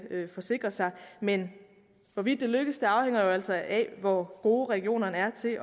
forsikre sig men hvorvidt det lykkes afhænger jo altså af hvor gode regionerne er til